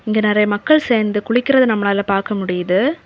இங்க நிறைய மக்கள் சேந்து குளிக்கிறத நம்மளால பாக்க முடியுது.